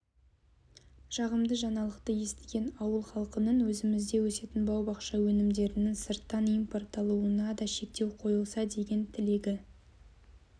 жағымды жаңалықты естіген ауыл халқының өзімізде өсетін бау-бақша өнімдерінің сырттан импортталуына да шектеу қойылса деген тілегі